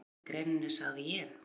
Síðar í greininni sagði ég